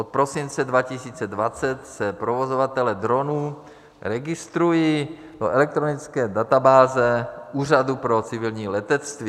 Od prosince 2020 se provozovatelé dronů registrují do elektronické databáze Úřadu pro civilní letectví.